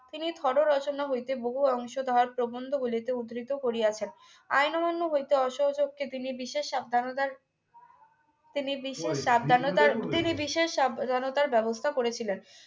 তিনি থর রচনা হইতে বহু অংশধার প্রবন্ধগুলিতে উদ্ধৃত করিয়াছেন আইন অমান্য হইতে অসহযোগে তিনি বিশেষ সাবধানতার তিনি বিশেষ সাবধানতার তিনি বিশেষ সাব ধানতার ব্যবস্থা করেছিলেন